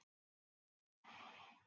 Gangnamaðurinn heill á húfi